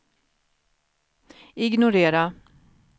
ignorera